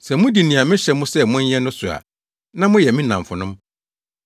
Sɛ mudi nea mehyɛ mo sɛ monyɛ no so a na moyɛ me nnamfonom.